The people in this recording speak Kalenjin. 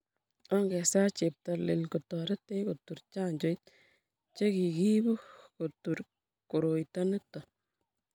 ongesaa Cheptailel kotoretech kotur chanjoit che kikiibu kutur koroito nito